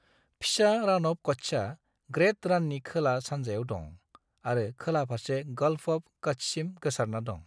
फिसा राण अफ कच्छआ ग्रेट राणनि खोला-सानजायाव दं, आरो खोला फारसे गल्फ अफ कच्छसिम गोसारना दं।